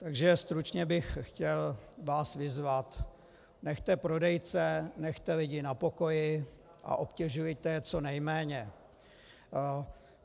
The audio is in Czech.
Takže stručně bych vás chtěl vyzvat: Nechte prodejce, nechte lidi na pokoji a obtěžujte je co nejméně.